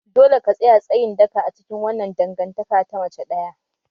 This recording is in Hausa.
Dole ka tsaya tsayin daka a cikin wannan dangantaka ta mace ɗaya!